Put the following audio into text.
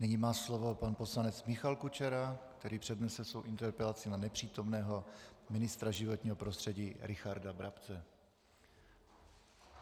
Nyní má slovo pan poslanec Michal Kučera, který přednese svou interpelaci na nepřítomného ministra životního prostředí Richarda Brabce.